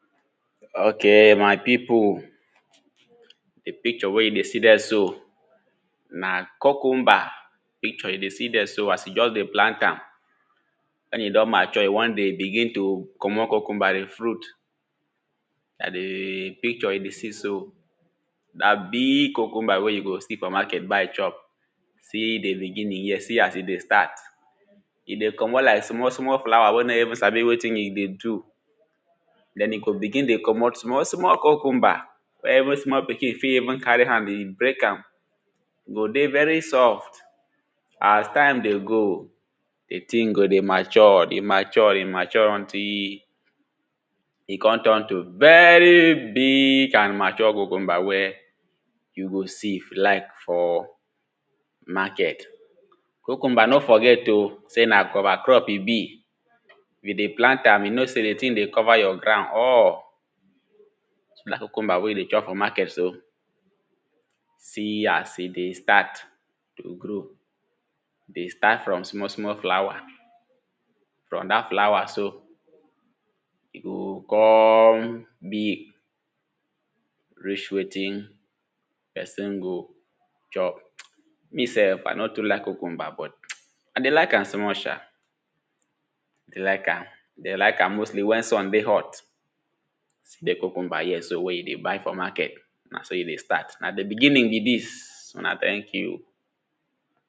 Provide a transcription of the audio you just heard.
okay, my people! De picture wey you dey see der so, na cucumber picture you dey see der so as you just dey plant am. Wen e don mature e wan dey begin to comot cucumber de fruit, na de picture you dey see so na biig cucumber wey you go see for market buy chop, see dey beginning here, see as e dey start. E dey comot like small small flower wey no even sabi wetin e dey do. Den e go begin dey comot small small cucumber wey even small pikin fit carry hand dey break am. go dey very soft, as time dey go, de tin go dey mature, dey mature, dey mature until e come turn to very biig and mature cucumber wey you go see like for market. Cucumber no forget.o sey na cover crop e be, if you dey plant am you know sey de tin dey cover your ground all, cucumber wey you dey chop for market so, See as e dey start to grow, dey start from small small flower, from dat flower so, e go coome big reach wetin pesin go chop. Me sef I no too like cucumber but [psst] I dey like am small sha. Like am, dey like am mostly wen sun dey hot. See de cucumber here so wey you dey buy for market na so e dey start, na dey beginning be dis, una thank you.o